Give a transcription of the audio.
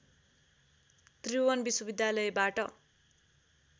त्रिभुवन विश्वविद्यालयबाट